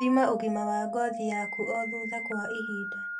Thima ũgima wa ngothi yaku o thutha wa ihinda